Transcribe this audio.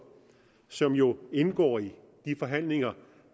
som jo indgår i de forhandlinger